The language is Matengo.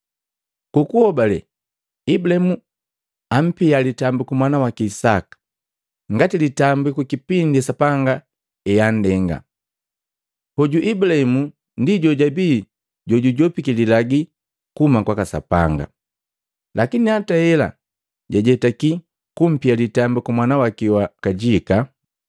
Ku kuhobale Ibulaimu apia litambiku mwana waki Isaka ngati litambiku kipindi Sapanga eandenga. Hoju Ibulahimu ndi jojabii jujopiki lilagi kuhuma kwaka Sapanga, lakini hata hela, jajetaki kumpia litambiku mwana waki wa kajika,